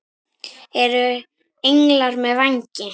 Eru englar með vængi?